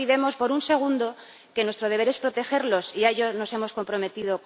No olvidemos ni por un segundo que nuestro deber es protegerlos, y a ello nos hemos comprometido.